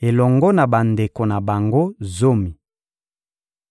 elongo na bandeko na bango zomi.